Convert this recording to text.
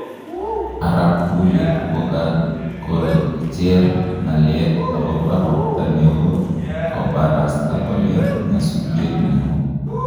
Arap Gullet kokakojer ngalek agopa ropta neo koparasta kole nyesutiet neo